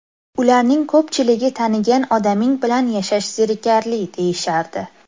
Ularning ko‘pchiligi tanigan odaming bilan yashash zerikarli, deyishardi.